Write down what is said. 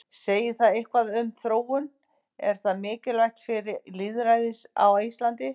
Segir það eitthvað um þróun, er það mikilvægt fyrir lýðræðið á Íslandi?